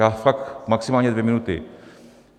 Já fakt maximálně dvě minuty.